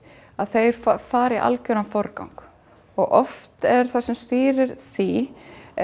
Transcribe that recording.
að þeir fari í algeran forgang og oft er það sem stýrir því